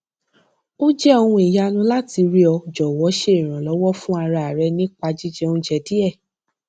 ó jẹ ohun ìyanu láti rí ọ jòwọ ṣe ìrànlọwọ fún ara rẹ nípa jíjẹ oúnjẹ díè